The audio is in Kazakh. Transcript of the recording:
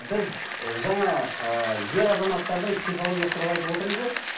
біз жаңа ы ер азаматтардың психологиясы туралы айтып отырмыз ғой